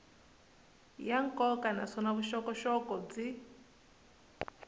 ya nkoka naswona vuxokoxoko byi